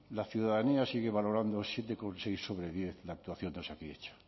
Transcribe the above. la ciudadanía sigue valorando siete coma seis sobre diez la actuación de osakidetza